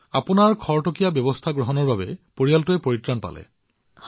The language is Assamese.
আপোনাৰ এই তৎকালীন পদক্ষেপৰ ফলত পৰিয়ালৰ অন্য লোক বাচি গল